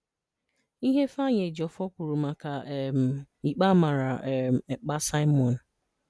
Ihe Ifeanyi Ejiofor kwuru maka um ikpe a mara um Ekpa Simon.